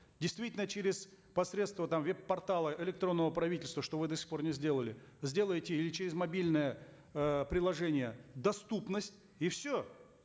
действительно через посредство там веб портала электронного правительства что вы до сих пор не сделали сделайте или через мобильное э приложение доступность и все